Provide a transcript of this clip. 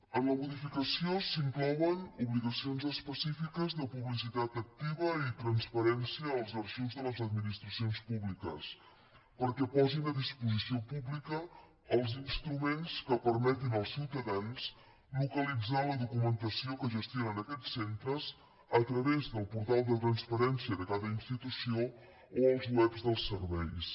en la modificació s’inclouen obligacions específiques de publicitat activa i transparència als arxius de les administracions públiques perquè posin a disposició pública els instruments que permetin als ciutadans localitzar la documentació que gestionen aquests centres a través del portal de transparència de cada institució o els webs dels serveis